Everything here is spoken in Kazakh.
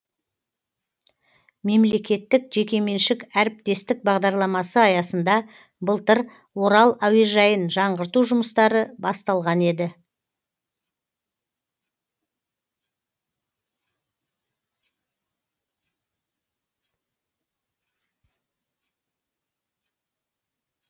мемлекеттік жекеменшік әріптестік бағдарламасы аясында былтыр орал әуежайын жаңғырту жұмыстары басталған еді